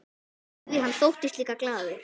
Því hann þóttist líka glaður.